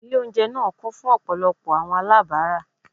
Ile ounjẹ naa kun fun ọpọlọpọ awọn alabara